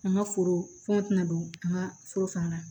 An ka foro fɛn tɛna don an ka foro fana na